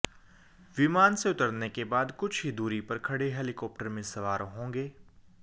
विमान से उतरने के बाद कुछ ही दूरी पर खड़े हेलीकॉप्टर में सवार होंगे